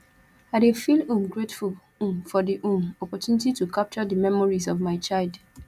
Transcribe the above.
i dey feel um grateful um for di um opportunity to capture di memories of my child